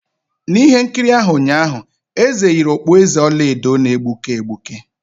N'ihe nkiri ahụ ụnyaahụ, eze yiri okpueze ọla edo na-egbuke egbuke